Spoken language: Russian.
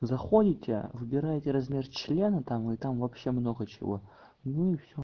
заходите выбирайте размер члена там и там вообще много чего ну и всё